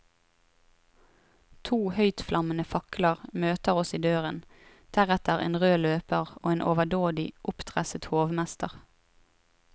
To høytflammende fakler møter oss i døren, deretter en rød løper og en overdådig oppdresset hovmester.